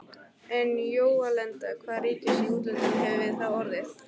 En hjálenda hvaða ríkis í útlöndum hefðum við þá orðið?!